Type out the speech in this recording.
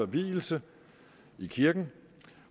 vielse i kirken